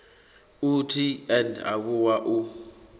u t and avhuwa u